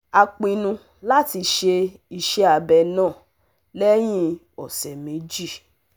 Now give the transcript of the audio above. A pinnu láti ṣe ise abẹ́ náà lẹ́yìn ọ̀sẹ̀ méjì